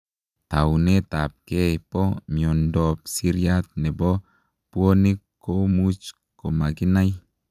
Taunetap gei poo miondoop siryat nepoo puonik komuuch komakinai,